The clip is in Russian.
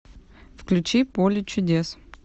включи поле чудес